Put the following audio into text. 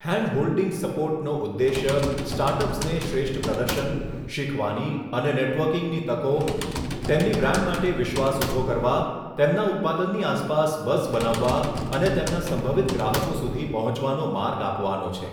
Handholding સપોર્ટનો ઉદ્દેશ્ય સ્ટાર્ટઅપ્સને શ્રેષ્ઠ પ્રદર્શન, શીખવાની અને નેટવર્કિંગની તકો, તેમની બ્રાન્ડ માટે વિશ્વાસ ઊભો કરવા, તેમના ઉત્પાદનની આસપાસ બઝ બનાવવા અને તેમના સંભવિત ગ્રાહકો સુધી પહોંચવાનો માર્ગ આપવાનો છે.